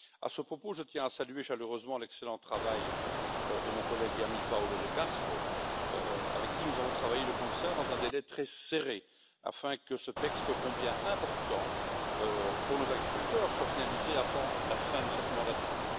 À ce propos, je tiens à saluer chaleureusement l'excellent travail de mon collègue et ami Paolo De Castro, avec qui nous avons travaillé de concert dans un délai très serré afin que ce texte, ô combien important pour nos agriculteurs, soit finalisé avant la fin de cette mandature.